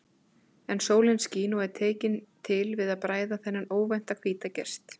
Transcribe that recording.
En sólin skín og er tekin til við að bræða þennan óvænta hvíta gest.